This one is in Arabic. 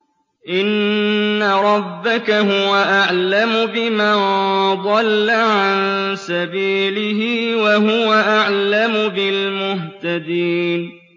إِنَّ رَبَّكَ هُوَ أَعْلَمُ بِمَن ضَلَّ عَن سَبِيلِهِ وَهُوَ أَعْلَمُ بِالْمُهْتَدِينَ